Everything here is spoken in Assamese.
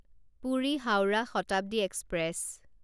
পুৰি হাউৰাহ শতাব্দী এক্সপ্ৰেছ